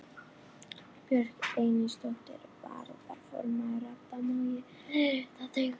Björk Einisdóttir, varaformaður Radda: Má ég leiðrétta þig?